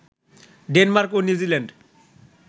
Denmark ও New Zealand